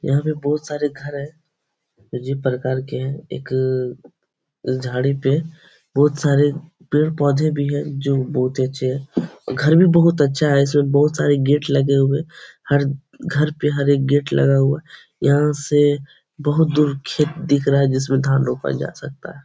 यहाँ पे बहुत सारे घर हैं अजीब प्रकार के हैं। एक झाड़ी पे बहुत सारे पेड़-पौधे भी हैं जो बहुत ही अच्छे हैं। घर भी बहुत अच्छा है। इसमें बहुत सारे गेट लगे हुए हर घर पे हर एक गेट लगा हुआ है। यहाँ से बहुत दूर खेत दिख रहा है जिसमें धान रोपा जा सकता है।